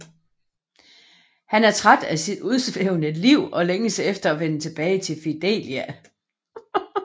Han er træt af sit udsvævende liv og længes efter at vende tilbage til Fidelia